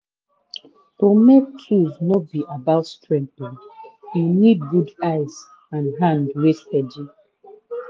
to make tools no be about strength oh e need good eyes and hand wey steady